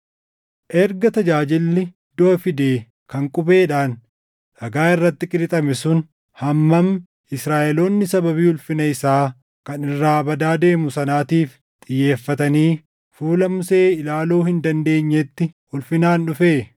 Erga tajaajilli duʼa fide kan qubeedhaan dhagaa irratti qirixame sun hamma Israaʼeloonni sababii ulfina isaa kan irraa badaa deemu sanaatiif xiyyeeffatanii fuula Musee ilaaluu hin dandeenyetti ulfinaan dhufee,